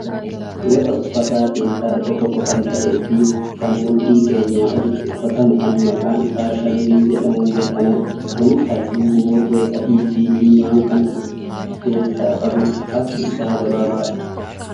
Gosa uffataa keessaa isa tokko kan ta'eefi kan mudhii keenyaa olitti uffatamu kan maqaan isaa shamizii jedhamuun beekamudha. Kunis halluu buburree adiifi diimaa kan of keessaa qabudha. Harki isaa gabaabaadha.